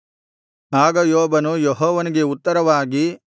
ಆಗ ಯೋಬನು ಯೆಹೋವನಿಗೆ ಉತ್ತರವಾಗಿ